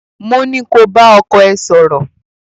mó ní ko bá ọkọ ẹ sọ̀rọ̀!